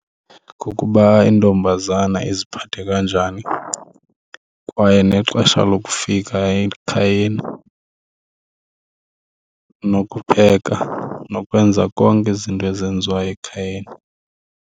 Kukuba intombazana iziphathe kanjani kwaye nexesha lokufika ekhayeni nokupheka nokwenza konke izinto ezenziwayo ekhayeni.